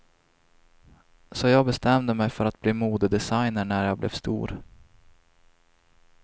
Så jag bestämde mig för att bli modedesigner när jag blev stor.